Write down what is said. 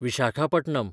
Visakhapatnam